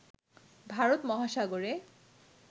ভারত মহাসাগরে